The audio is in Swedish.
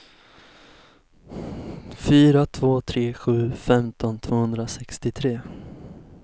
fyra två tre sju femton tvåhundrasextiotre